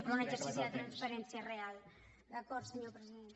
però un exercici de transparència real d’acord senyor president